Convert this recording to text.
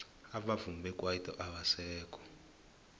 abavumi bekwaito abasekho